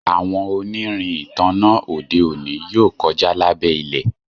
àwọn onirin ìtanná ode òní yóò kọja lábé ilẹ